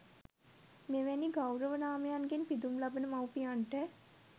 මෙවැනි ගෞරව නාමයන්ගෙන් පිදුම් ලබන මව්පියන්ට